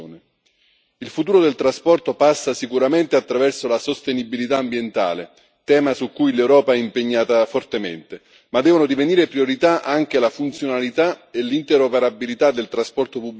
Il futuro del trasporto passa sicuramente attraverso la sostenibilità ambientale, tema su cui l'Europa è impegnata fortemente, ma devono divenire priorità anche la funzionalità e l'interoperabilità del trasporto pubblico urbano.